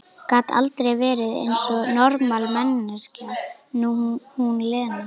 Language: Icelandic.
Gat aldrei verið eins og normal manneskja, hún Lena!